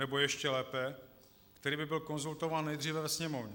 Nebo ještě lépe, který by byl konzultován nejdříve ve Sněmovně.